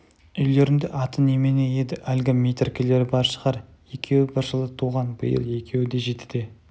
үйлерінде аты немене еді әлгі метіркелері бар шығар екеуі бір жылы туған биыл екеуі де жетіде